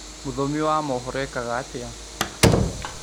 Mũthomi wa mohoro ekaga atĩa